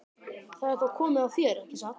Það er þá komið að þér, ekki satt?